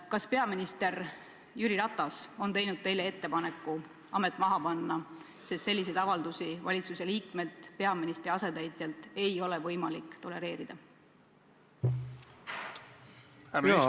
Kas peaminister Jüri Ratas on teinud teile ettepaneku amet maha panna, sest selliseid avaldusi valitsuse liikmelt, peaministri asetäitjalt, ei ole võimalik tolereerida?